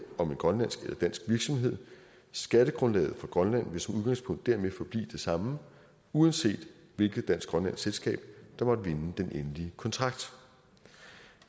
om en grønlandsk eller dansk virksomhed skattegrundlaget for grønland vil som udgangspunkt dermed forblive det samme uanset hvilket dansk grønlandsk selskab der måtte vinde den endelige kontrakt